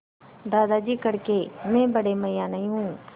दादाजी कड़के मैं बड़े मियाँ नहीं हूँ